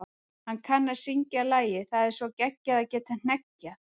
Hann kann að syngja lagið Það er svo geggjað að geta hneggjað.